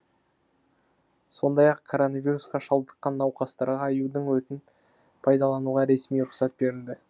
сондай ақ коронавирусқа шалдыққан науқастарға аюдың өтін пайданалуға ресми рұқсат берілді